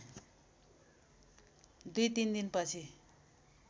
दुई तिन दिनपछि